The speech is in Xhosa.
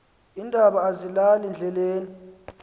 iindaba azilali ndleleni